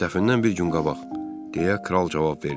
Dəfnən bir gün qabaq, deyə kral cavab verdi.